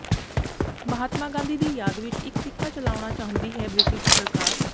ਮਹਾਤਮਾ ਗਾਂਧੀ ਦੀ ਯਾਦ ਵਿਚ ਇਕ ਸਿੱਕਾ ਚਲਾਉਣਾ ਚਾਹੁੰਦੀ ਹੈ ਬ੍ਰਿਟਿਸ਼ ਸਰਕਾਰ